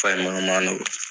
Fa ye mɔnimano